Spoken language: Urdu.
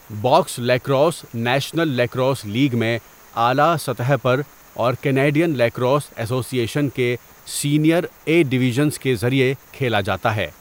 Box lacrosse national lacrosse league میں اعلیٰ سطح پر اور کینیڈین لیکروس ایسوسی ایشن کے سینئر اے ڈویژنز کے ذریعے کھیلا جاتا ہے۔